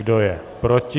Kdo je proti?